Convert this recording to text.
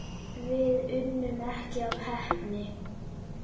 Við unnum ekki af heppni.